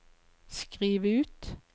skriv ut